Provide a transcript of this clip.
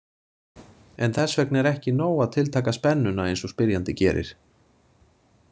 En þess vegna er ekki nóg að tiltaka spennuna eins og spyrjandi gerir.